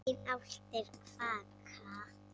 Engar álftir kvaka.